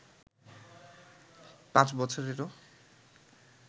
পাঁচ বছরেরও